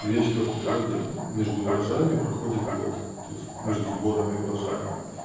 гречка в природе между урожаями проходит год то есть между сборами урожаев